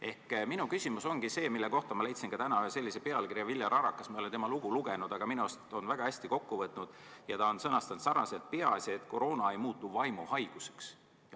Ehk minu küsimus ongi see, mille kohta ma leidsin täna ühe artikli pealkirja, mille ta on sõnastanud selliselt, mis minu arust võtab väga hästi kokku: peamine, et koroona ei muutuks vaimuhaiguseks.